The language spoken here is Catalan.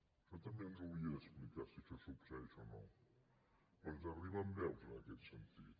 això també ens ho hauria d’explicar si això succeeix o no perquè ens arriben veus en aquest sentit